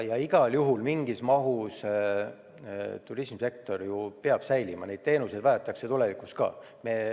Ja igal juhul mingis mahus turismisektor peab säilima, neid teenuseid vajatakse ka tulevikus.